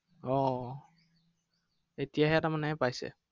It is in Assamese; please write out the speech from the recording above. আহ এতিয়াহে তাৰমানে পাইছে?